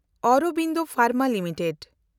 Aurobindo pharma limited